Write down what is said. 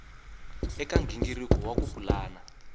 eka nghingiriko wa ku pulana